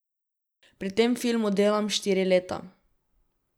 Pri tem filmu delam štiri leta.